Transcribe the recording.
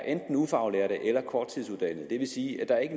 er ufaglærte eller korttidsuddannede det vil sige at der ikke